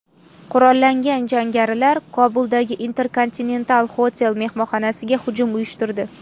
Qurollangan jangarilar Kobuldagi Intercontinental Hotel mehmonxonasiga hujum uyushtirdi.